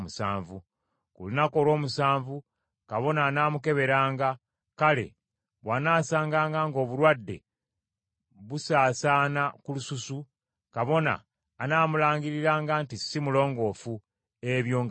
Ku lunaku olw’omusanvu kabona anaamukeberanga, kale bw’anaasanganga ng’obulwadde busaasaana ku lususu, kabona anaamulangiriranga nti si mulongoofu; ebyo nga bigenge.